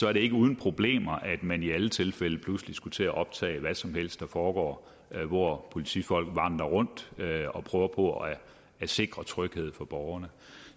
er det ikke uden problemer at man i alle tilfælde pludselig skulle til at optage hvad som helst der foregår hvor politifolk vandrer rundt og prøver på at sikre tryghed for borgerne